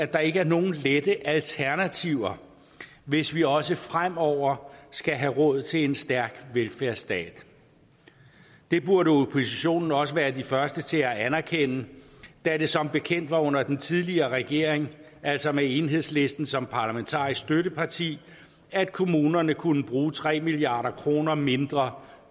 der ikke er nogen lette alternativer hvis vi også fremover skal have råd til en stærk velfærdsstat det burde oppositionen også være de første til at anerkende da det som bekendt var under den tidligere regering altså med enhedslisten som parlamentarisk støtteparti at kommunerne kunne bruge tre milliard kroner mindre